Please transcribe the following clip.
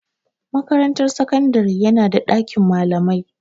Makarantar sakandari yana da ɗakin malamai.